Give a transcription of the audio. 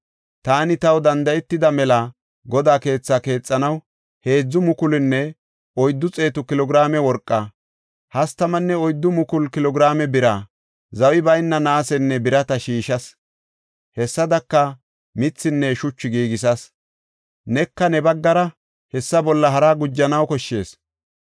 Taani taw danda7etida mela Godaa keetha keexanaw 3,400 kilo giraame worqa, 34,000 kilo giraame bira, zawi bayna naasenne birata shiishas; hessadaka mithinne shuchu giigisas. Neka ne baggara hessa bolla haraa gujanaw koshshees.